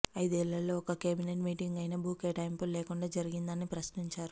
ఐదేళ్లలో ఒక్క cabinet meeting అయినా భూ కేటాయింపులు లేకుండా జరిగిందా అని ప్రశ్నించారు